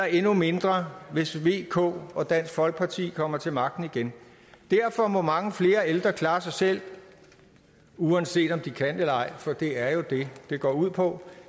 endnu mindre hvis v k og dansk folkeparti kommer til magten igen derfor må mange flere ældre klare sig selv uanset om de kan eller ej for det er jo det det går ud på